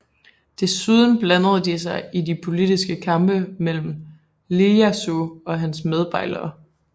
Desuden blandede de sig i de politiske kampe mellem Ijejasu og hans medbejlere